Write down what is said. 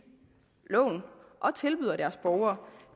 og tilbyder deres borgere